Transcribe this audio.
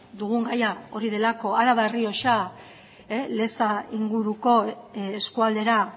dugun gaia hori delako araba errioxa leza inguruko eskualdera